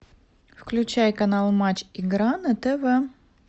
включай канал матч игра на тв